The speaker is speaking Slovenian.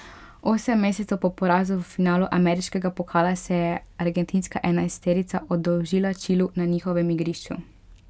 Osem mesecev po porazu v finalu ameriškega pokala se je argentinska enajsterica oddolžila Čilu na njihovem igrišču.